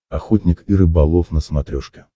охотник и рыболов на смотрешке